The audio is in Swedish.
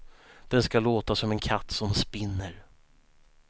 Den ska låta som en katt som spinner.